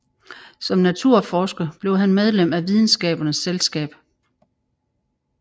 Som naturforsker blev han medlem af Videnskabernes Selskab